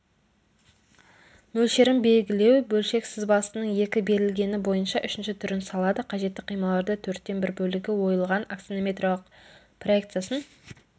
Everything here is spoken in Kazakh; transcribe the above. мөлшерін белгілеу бөлшек сызбасының екі берілгені бойынша үшінші түрін салады қажетті қималарды төрттен бір бөлігі ойылған аксонометриялық проекциясын